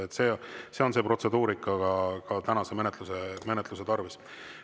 See on see protseduurika ka tänase menetluse tarvis.